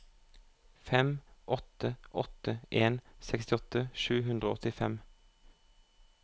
fem åtte åtte en sekstiåtte sju hundre og åttifem